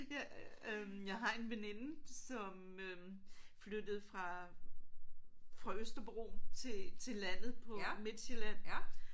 Ja øh jeg har en veninde som øh flyttede fra fra Østerbro til til landet på Midtsjælland